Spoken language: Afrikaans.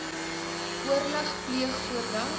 oorleg pleeg voordat